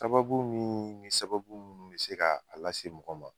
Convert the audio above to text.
Sababu mi ni sababu munnu be se ka a lase mɔgɔ ma